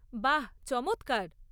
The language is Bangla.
বাহ, চমৎকার!